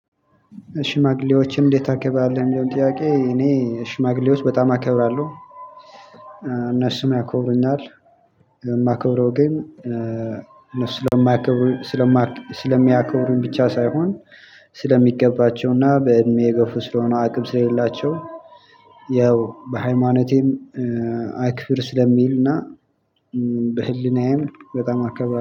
ሽማግሌዎችን እንዴት ታከብራለህ? የሚለውን ጥያቄ እኔ ሽማግሌዎች በጣም አከብራለሁ እነሱም ያከብሩኛል። የማከብረው ግን እነሱ ስለማይ። ስለማ ስልሚያከብሩኝ ብቻ ሳይሆን። ስለሚገባቸው እና በእድሜ የገፉ ስለሆኑ አቅም ስለሌላቸው። የ ያው በሃይማኖቴም አክብር ስለሚል እና በህሊናዬም በጣም አከብራለሁ